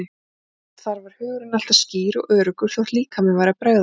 Þar var hugurinn alltaf skýr og öruggur þótt líkaminn væri að bregðast.